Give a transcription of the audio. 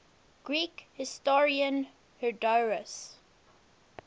greek historian herodotus